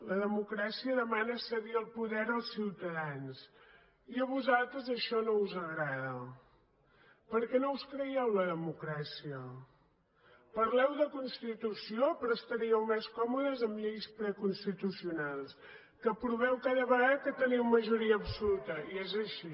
la democràcia demana cedir el poder als ciutadans i a vosaltres això no us agrada perquè no us creiem la democràcia parleu de la constitució però estaríeu més còmodes amb lleis preconstitucionals gada que teniu majoria absoluta i és així